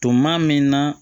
Tuma min na